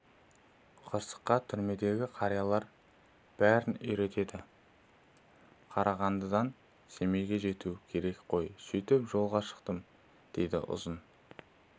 қысқасы түрмедегі қариялар бәрін үйретеді қарағандыдан семейге жету керек қой сөйтіп жолға шықтым дейді ұзын